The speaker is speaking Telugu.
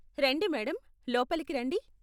రండి మేడమ్, లోపలకి రండి.